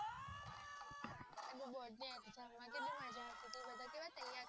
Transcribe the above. આને બોર્ડ ની એક્ષામ માં કેટલી મજા આવતી હતી બધા કેવા તૈયાર થતા